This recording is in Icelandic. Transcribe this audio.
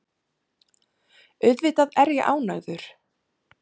Auðvitað er ég ánægður.